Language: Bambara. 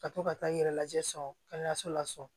Ka to ka taa i yɛrɛ lajɛ so kɛnɛyaso la so